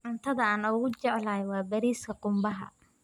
Cuntada aan ugu jecelahay waa bariiska qumbaha.